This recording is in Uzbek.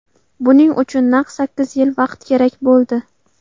Buning uchun naq sakkiz yil vaqt kerak bo‘ldi.